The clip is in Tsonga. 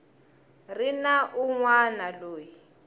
ri na un wana loyi